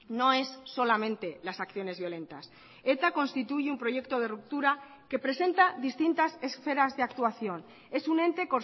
no es solamente las acciones violentas eta constituye un proyecto de ruptura que presenta distintas esferas de actuación es un ente